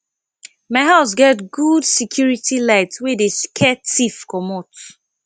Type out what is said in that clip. my house get good security light wey dey scare tiff comot